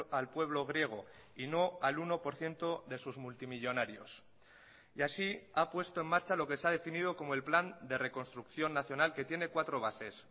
al pueblo griego y no al uno por ciento de sus multimillónarios y así ha puesto en marcha lo que se ha definido como el plan de reconstrucción nacional que tiene cuatro bases